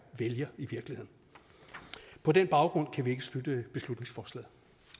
vælger på den baggrund kan vi ikke støtte beslutningsforslaget